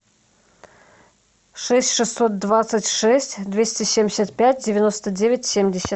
шесть шестьсот двадцать шесть двести семьдесят пять девяносто девять семьдесят